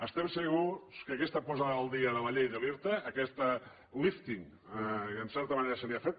estem segurs que aquesta posada al dia de la llei de l’irta aquest lífting que en certa manera se li ha fet